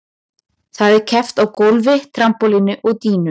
Þar er keppt á gólfi, trampólíni og dýnu.